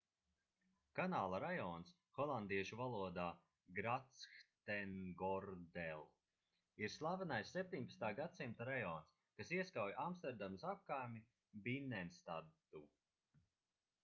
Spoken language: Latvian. kanāla rajons holandiešu valodā grachtengordel ir slavenais 17. gadsimta rajons kas ieskauj amsterdamas apkaimi binnenstadu